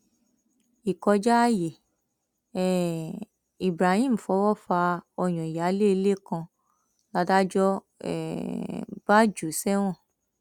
ìkọjá ààyè um ibrahim fọwọ fa ọyàn ìyáálé ilé kan ládájọ um bá jù ú sẹwọn